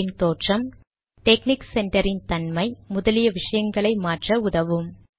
இன் தோற்றம் டெக்னிக் சென்டரின் தன்மை முதலிய விஷயங்களை மாற்ற உதவும்